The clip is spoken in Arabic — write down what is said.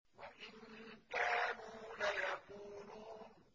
وَإِن كَانُوا لَيَقُولُونَ